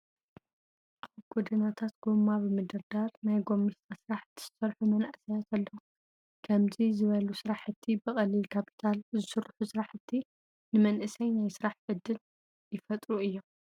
ኣብ ጎደናታት ጎማ ብምድርዳር ናይ ጎሚስታ ስራሕቲ ዝሰርሑ መናእሰያት ኣለው። ከምዚ ዝበሉ ስራሕቲ ብቀሊል ካፒታል ዝስርሑ ስራሕቲ ንመናእሰይ ናይ ስራሕ ዕድል ይፈጥሩ እዮም።